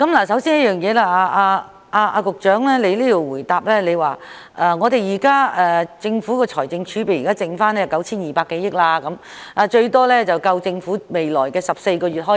首先，局長在主體答覆中指出，現時的財政儲備結餘約為 9,200 多億元，最多可應付政府約14個月的開支。